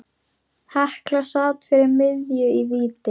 Hekla sat fyrir miðju í víti.